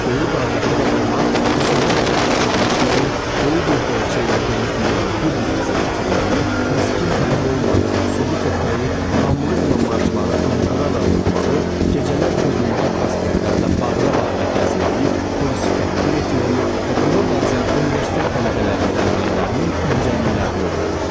Böyük qardaşı da ona qusana qədər içki içməyi, böyük bir dolça ilə dolu pivəni bir nəfəsə bitirməyi, miskin tələbə olmadığını sübut etməyi, hamılıqla marşları anqıraraq oxumağı, gecələr birlikdə prospektlərdə bağıra-bağıra gəzməyi, polisi təhqir etməyi və buna bənzər universitet tələbələri dərnəklərinin incəliklərini öyrədərdi.